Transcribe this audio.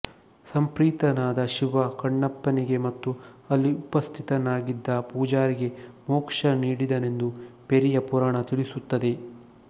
ಸಂಪ್ರೀತನಾದ ಶಿವ ಕಣ್ಣಪ್ಪನಿಗೆ ಮತ್ತು ಅಲ್ಲಿ ಉಪಸ್ಥಿತನಾಗಿದ್ದ ಪೂಜಾರಿಗೆ ಮೋಕ್ಷ ನೀಡಿದನೆಂದು ಪೆರಿಯ ಪುರಾಣ ತಿಳಿಸುತ್ತದೆ